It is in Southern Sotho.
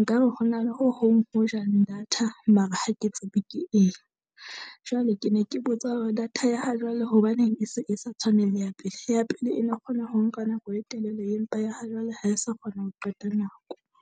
Nka re ho na le ho hong ho jang data mara ha ke tsebe ke eng. Jwale ke ne ke botsa hore data ya ha jwale hobaneng e se e sa tshwane le ya pele? Ya pele e ne kgona ho nka nako e telele, empa ya ha jwale ha e sa kgona ho qeta nako.